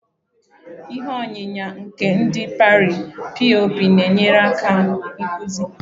Ihe onyinya nke ndi Pari (POP) na-enyere aka ịkpụzi